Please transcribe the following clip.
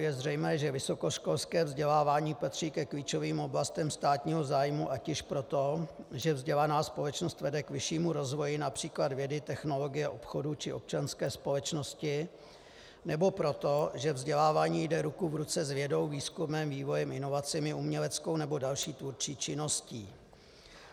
Je zřejmé, že vysokoškolské vzdělávání patří ke klíčovým oblastem státního zájmu ať již proto, že vzdělaná společnost vede k vyššímu rozvoji, například vědy, technologie, obchodu či občanské společnosti, nebo proto, že vzdělávání jde ruku v ruce s vědou, výzkumem, vývojem, inovacemi, uměleckou nebo další tvůrčí činností.